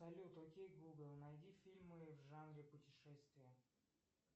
салют окей гугл найди фильмы в жанре путешествия